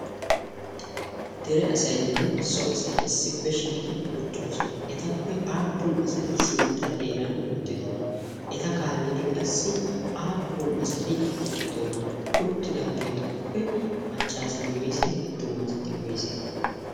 dere asaynne so asay issippe shiiqi uttidosona. etappe aappun asay sintta xeeran uttidona eta kaallidi qassi aappun asati uttidona ha uttidaageetuppe maccaasati woyse attuma asati woyse?